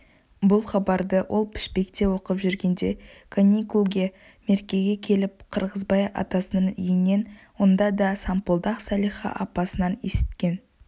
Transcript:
бұл хабарды ол пішпекте оқып жүргенде каникулге меркеге келіп қырғызбай атасының үйінен онда да сампылдақ салиха апасынан есіткен